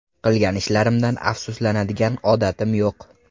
Qilgan ishlarimdan afsuslanadigan odatim yo‘q.